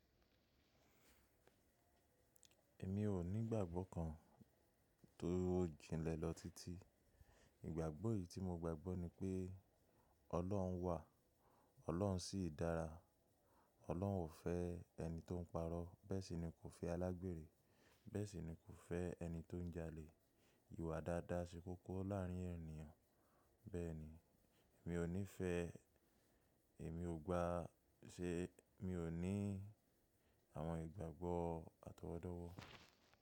Èmi ò ní ìgbàgbọ́ kan tó jìnlẹ̀ lọ títí. Ìgbàgbọ́ yìí tí mo gbàgbọ́ ni pé Ọlọ́run wà, Ọlọ́run sì dára. Ọlọ́run ò fẹ́ ẹni tó ń parọ́, bẹ́ẹ̀ sì ni kò fẹ́ alágbèrè, bẹ́ẹ̀ sì ni kò fẹ́ ẹni tó ń jalè. Ìwà dáadáa ṣe kókó láàárín ènìyàn. Bẹ́ẹ̀ni, mi ò nífẹ̀ẹ́, èmi ò gba ṣe, mi ò ní àwọn ìgbàgbọ́ atọwọ́dọ́wọ́.